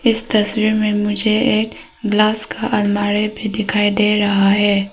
इस तस्वीर में मुझे एक ग्लास का अलमारी भी दिखाई दे रहा है।